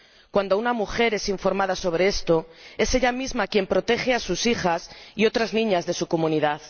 Cuando una mujer es informada sobre esto, es ella misma quien protege a sus hijas y otras niñas de su comunidad.